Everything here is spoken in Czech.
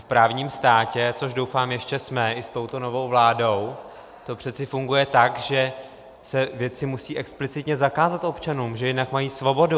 V právním státě, což doufám ještě jsme, i s touto novou vládou, to přeci funguje tak, že se věci musí explicitně zakázat občanům, že jinak mají svobodu.